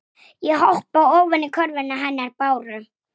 Það er hennar sorg.